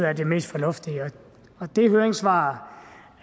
er det mest fornuftige og det høringsvar